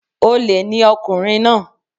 Olè ni ọkùnrin náà